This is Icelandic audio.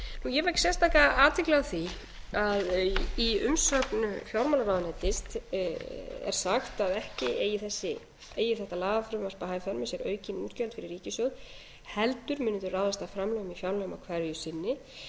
ég vek sérstaka athygli á því að í umsögn fjármálaráðuneytis er sagt að ekki eigi þetta lagafrumvarp að hafa í för með sér aukin útgjöld fyrir ríkissjóð heldur muni þau ráðast af framlögum á fjárlögum hverju